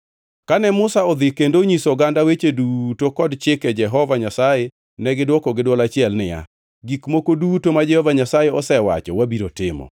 Kane Musa odhi kendo onyiso oganda weche duto kod chike Jehova Nyasaye, negidwoko gi dwol achiel niya, “Gik moko duto ma Jehova Nyasaye osewacho wabiro timo.”